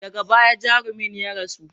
Daga baya jarumin ya rasu.